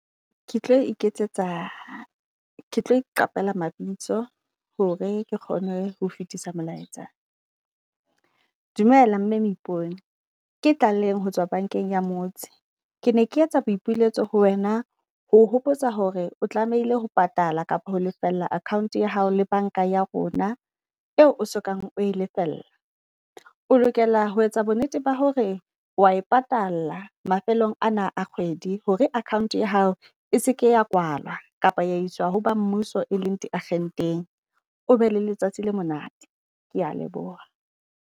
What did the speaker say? Ke tlo iketsetsa ke tlo iqapela mabitso hore ke kgone ho fitisa molaetsa. Dumela mme Moipone, ke Tlaleng ho tswa bankeng ya motse. Ke ne ke etsa boipiletso ho wena. Ho hopotsa hore o tlamehile ho patala kapo ho lefella account ya hao le banka ya rona eo o so kang o e lefella. O lokela ho etsa bo nnete ba hore wa e patala mafelong ana a kgwedi hore account ya hao e seke ya kwalwa kapa ya iswa ho ba mmuso, e leng di akgenteng. O be le letsatsi le monate. Kea leboha.